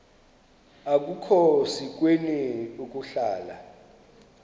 akukhona sikweni ukuhlala